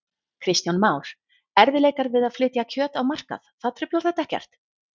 Kristján Már: Erfiðleikar við að flytja kjöt á markað, það truflar þetta ekkert?